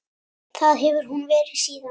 Það hefur hún verið síðan.